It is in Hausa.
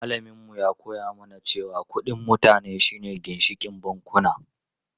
Malamin mu ya koya mana cewa kudin mutane shi ne ginshikin bankuna.